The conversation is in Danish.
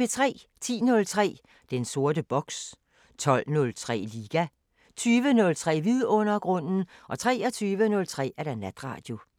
10:03: Den sorte boks 12:03: Liga 20:03: Vidundergrunden 23:03: Natradio